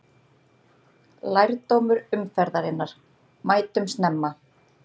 Lærdómur umferðarinnar: Mætum snemma!